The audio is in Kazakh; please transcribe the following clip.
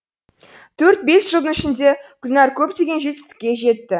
төрт бес жылдың ішінде гүлнәр көптеген жетістікке жетті